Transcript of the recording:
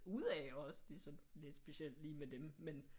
Af også det er så også lidt specielt med dem men